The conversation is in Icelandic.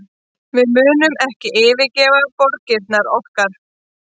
Við munum ekki yfirgefa borgirnar okkar